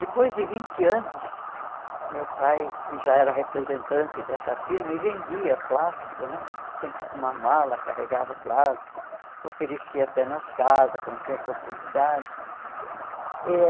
Depois de vinte anos, meu pai já era representante dessa firma e vendia plástico né, sempre com uma mala, carregava o plástico, oferecia até nas casas quando tinha oportunidade eh.